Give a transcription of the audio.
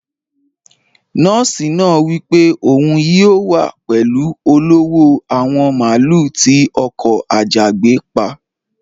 Nóòsì náà wípé òun yóò wá pẹlú olówò àwọn màálú tí ọkò ajagbé pà.